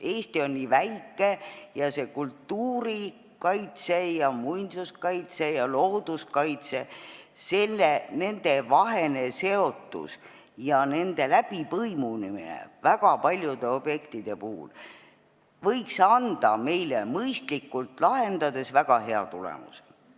Eesti on nii väike ja kultuurikaitse, muinsuskaitse ja looduskaitse – nende seotus ja nende läbipõimumine väga paljude objektide puhul võiks anda meile mõistlikult tegutsedes väga hea tulemuse.